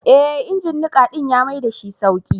Ee injin niƙa ɗin ya maidashi sauƙi.